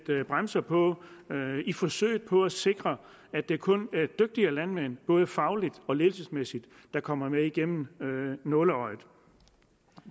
bremser på i forsøget på at sikre at det kun er dygtige landmænd både fagligt og ledelsesmæssigt der kommer igennem nåleøjet